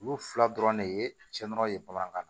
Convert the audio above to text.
Olu fila dɔrɔn de ye cɛɔrɔ ye bamanankan na